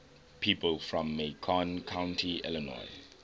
people from macon county illinois